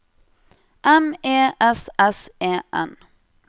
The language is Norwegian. M E S S E N